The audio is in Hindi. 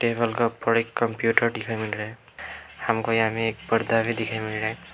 ये हल्का बड़े कंप्यूटर दिखाई मिल रहा है हमको यहां में एक पर्दा भी दिखाई मिल रहा है।